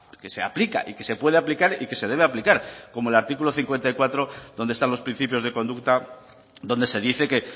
que se aplica y que se puede aplicar y que se debe aplicar como el artículo cincuenta y cuatro donde están los principios de conducta donde se dice que